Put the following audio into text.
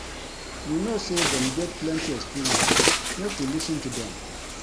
You know sey dem get plenty experience, make we lis ten to dem.